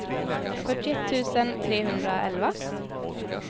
fyrtioett tusen trehundraelva